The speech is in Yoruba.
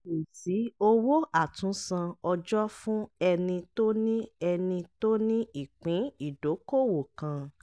kò sí owó àtúnsan ọjọ́ fún ẹni tó ni ẹni tó ni ìpín ìdókoòwò kan.